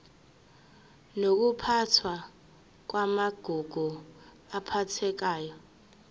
nokuphathwa kwamagugu aphathekayo